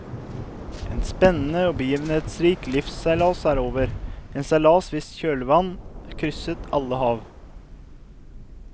En spennende og begivenhetsrik livsseilas er over, en seilas hvis kjølvann krysset alle hav.